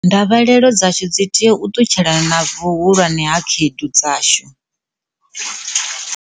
Ndavhelelo dzashu dzi tea u ṱutshelana na vhuhulwane ha khaedu dzashu.